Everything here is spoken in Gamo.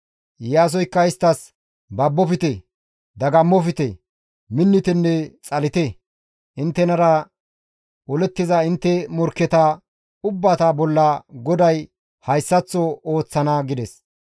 Iyaasoykka isttas, «Babofte; dagammofte; minnitenne xalite; inttenara olettiza intte morkketa ubbata bolla GODAY hayssaththo ooththana» gides.